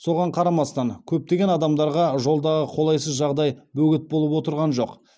соған қарамастан көптеген адамдарға жолдағы қолайсыз жағдай бөгет болып отырған жоқ